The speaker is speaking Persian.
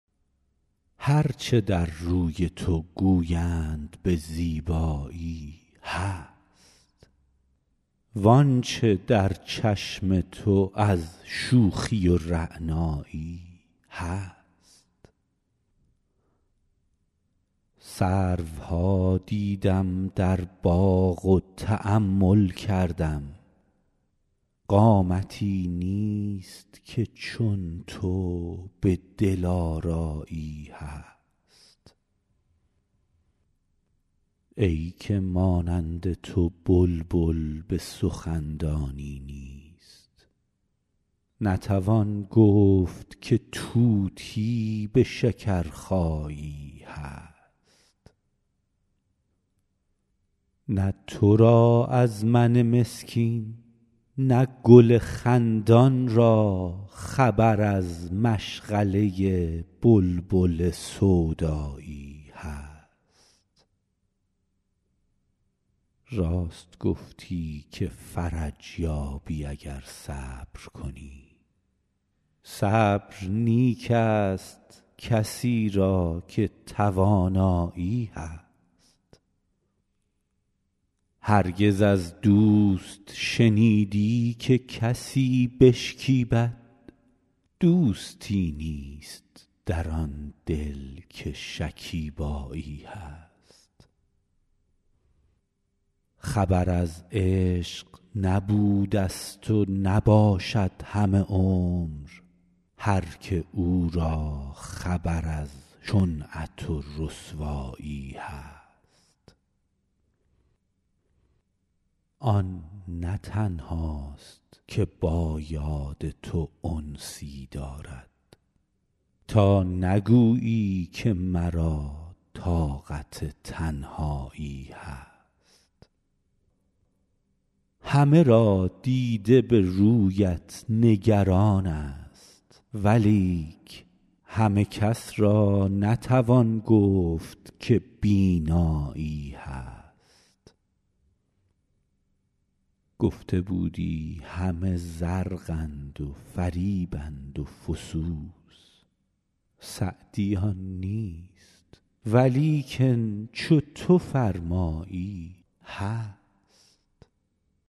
هر چه در روی تو گویند به زیبایی هست وان چه در چشم تو از شوخی و رعنایی هست سروها دیدم در باغ و تأمل کردم قامتی نیست که چون تو به دلآرایی هست ای که مانند تو بلبل به سخن دانی نیست نتوان گفت که طوطی به شکرخایی هست نه تو را از من مسکین نه گل خندان را خبر از مشغله بلبل سودایی هست راست گفتی که فرج یابی اگر صبر کنی صبر نیک ست کسی را که توانایی هست هرگز از دوست شنیدی که کسی بشکیبد دوستی نیست در آن دل که شکیبایی هست خبر از عشق نبودست و نباشد همه عمر هر که او را خبر از شنعت و رسوایی هست آن نه تنهاست که با یاد تو انسی دارد تا نگویی که مرا طاقت تنهایی هست همه را دیده به رویت نگران ست ولیک همه کس را نتوان گفت که بینایی هست گفته بودی همه زرقند و فریبند و فسوس سعدی آن نیست ولیکن چو تو فرمایی هست